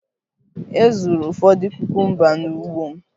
E zuru ụfọdụ kukumba n'ugbo m